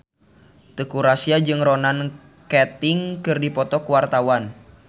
Teuku Rassya jeung Ronan Keating keur dipoto ku wartawan